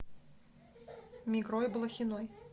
мигрой блохиной